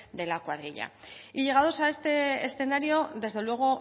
de la cuadrilla llegados a este escenario desde luego